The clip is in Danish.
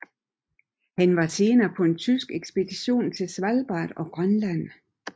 Han var senere på en tysk ekspedition til Svalbard og Grønland